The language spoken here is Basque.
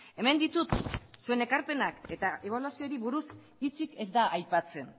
hemen ditut zuen ekarpenak eta ebaluazioari buruz hitzik ez da aipatzen